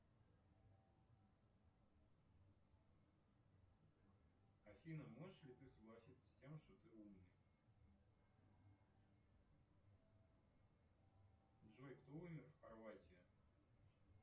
афина можешь ли ты согласиться с тем что ты умная джой кто умер в хорватии